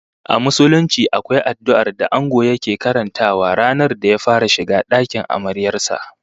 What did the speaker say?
A Musulunci akwai addu'ar da Ango yake karantawa ranar da ya fara shiga dakin amaryar sa